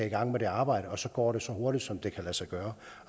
i gang med det arbejde og så går så hurtigt som det kan lade sig gøre